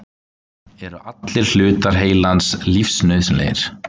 Eru allir hlutar heilans lífsnauðsynlegir?